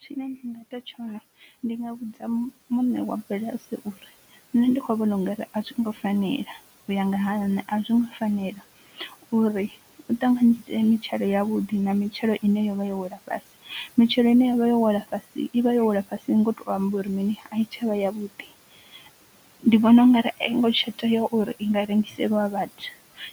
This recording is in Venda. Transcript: Tshine nda nga ita tshone ndi nga vhudza muṋe wa bulasi uri nṋe ndi khou vhona ungari a zwo ngo fanela u ya nga ha nṋe a zwi ngo fanela uri u tanganyise mitshelo ya vhuḓi na mitshelo ine yavha yo wela fhasi, mitshelo ine yavha yo wela fhasi, mitshelo ine ya vha yo wela fhasi i vha yo wela fhasi ngo to amba uri mini a i tsha vha ya vhuḓi, ndi vhona ungari a I ngo tsha tea uri i nga rengiseliwa vhathu,